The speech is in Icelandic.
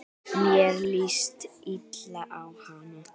Mér líst illa á hana.